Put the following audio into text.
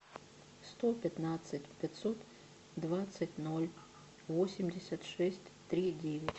сто пятнадцать пятьсот двадцать ноль восемьдесят шесть три девять